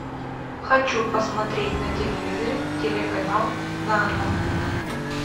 хочу посмотреть на телевизоре телеканал нано